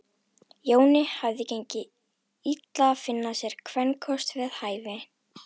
Jóni hafði gengið illa að finna sér kvenkost við hæfi.